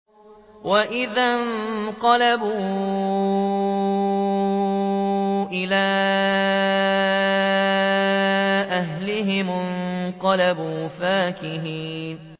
وَإِذَا انقَلَبُوا إِلَىٰ أَهْلِهِمُ انقَلَبُوا فَكِهِينَ